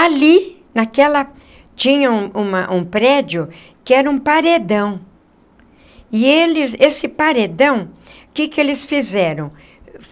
Ali... naquela... tinha um uma um prédio... que era um paredão... e eles... esse paredão... o que que eles fizeram?